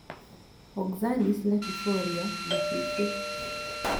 Oxalis latifolia Ndabibi